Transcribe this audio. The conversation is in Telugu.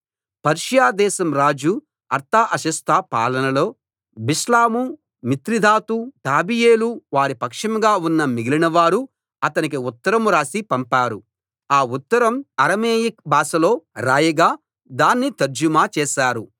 పర్షియా దేశం రాజు అర్తహషస్త పాలనలో బిష్లాము మిత్రిదాతు టాబెయేలు వారి పక్షంగా ఉన్న మిగిలినవారు అతనికి ఉత్తరం రాసి పంపారు ఆ ఉత్తరం అరమేయిక్ భాషలో రాయగా దాన్ని తర్జుమా చేశారు